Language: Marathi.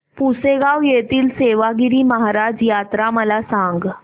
पुसेगांव येथील सेवागीरी महाराज यात्रा मला सांग